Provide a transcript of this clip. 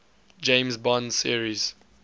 james bond series